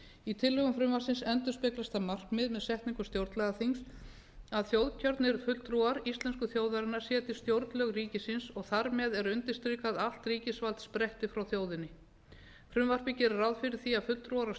í tillögum frumvarpsins endurspeglast það markmið með setningu stjórnlagaþings að þjóðkjörnir fulltrúar íslensku þjóðarinnar setji stjórnlög ríkisins og þar með er undirstrikað að allt ríkisvald spretti frá þjóðinni frumvarpið gerir ráð fyrir því að fulltrúar